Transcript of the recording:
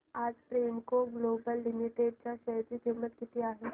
आज Premco global limited च्या share ची किंमत काय आहे